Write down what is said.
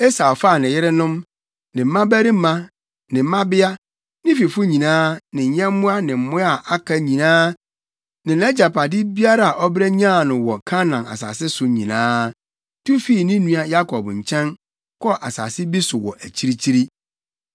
Esau faa ne yerenom, ne mmabarima, ne mmabea, ne fifo nyinaa, ne nyɛmmoa ne mmoa a aka nyinaa ne nʼagyapade biara a ɔbrɛ nyaa no wɔ Kanaan asase so nyinaa, tu fii ne nua Yakob nkyɛn, kɔɔ asase bi so wɔ akyirikyiri.